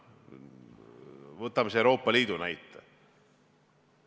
Võtame Euroopa Liidu näite.